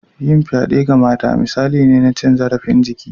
Yin fyade ga mata misali ne na cin zarafin jiki